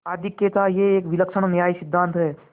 आधिक्य थायह एक विलक्षण न्यायसिद्धांत है